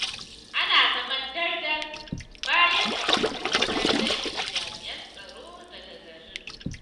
Ana zaman ɗar-ɗar, bayan da gwamnati ta janye jami'an tsaro daga garin.